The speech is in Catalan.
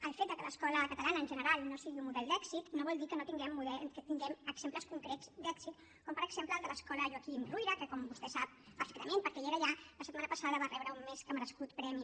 el fet que l’escola catalana en general no sigui un model d’èxit no vol dir que no tinguem exemples concrets d’èxit com per exemple el de l’escola joaquim ruyra que com vostè sap perfectament perquè era allà la setmana passada va rebre un més que merescut premi